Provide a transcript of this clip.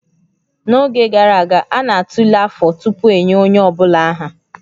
N'oge gara aga, a na-atụle afọ tupu enye onye ọ bụla aha